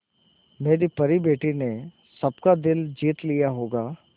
मेरी परी बेटी ने तो सबका दिल जीत लिया होगा